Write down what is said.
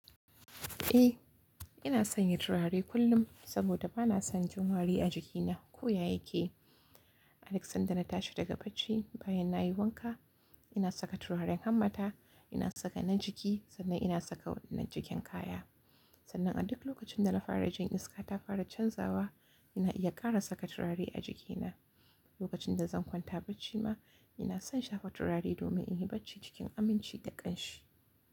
Eh, ina son yin turare kullum saboda bana son jin wari a jikina ko ya yake. Aduk sanda na tashi daga bacci bayan na yi wanka, ina saka turaren hammata, ina saka na jiki sannan ina saka na jikin kaya. Sannan a duk lokacin da na fara jin iska ta fara canzawa, ina iya ƙara saka turare a jikina. Lokacin da zan kwanta bacci ma ina son shafa turare domin in yi bacci cikin aminci da ƙanshi.